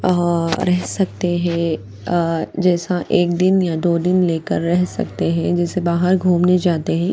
आ रह सकते है जैसा एक दिन या दो दिन लेकर रह सकते है जैसे बाहर घूमने जाते है।